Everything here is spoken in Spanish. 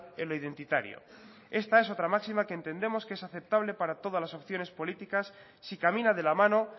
en lo identitario esta es otra máxima que entendemos que es aceptable para todas las opciones políticas si camina de la mano